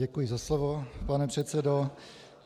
Děkuji za slovo, pane předsedo.